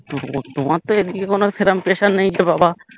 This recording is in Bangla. তোমার তো এদিকে কোনো সেরম pressure নেই যে বাবা